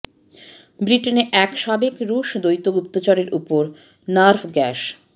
ব্রিটেনে একজন সাবেক রুশ দ্বৈত গুপ্তচরের ওপর নার্ভ গ্যাস